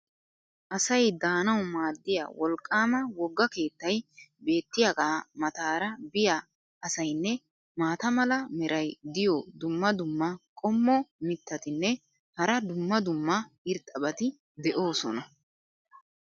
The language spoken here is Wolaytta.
asay daanawu maadiya wolqaama woga keettay beetiyaagaa mataara biya asaynne maata mala meray diyo dumma dumma qommo mitattinne hara dumma dumma irxxabati de'oosona.